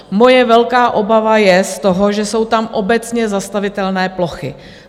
Moje velká obava je z toho, že jsou tam obecně zastavitelné plochy.